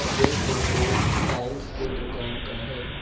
यह photo tiles के दुकान का है।